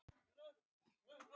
Dómstólarnir eru að störfum